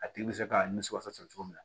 A tigi bɛ se k'a nimisi wasa cogo min na